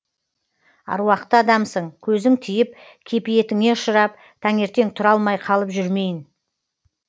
аруақты адамсың көзің тиіп кепиетіңе ұшырап таңертең тұра алмай қалып жүрмейін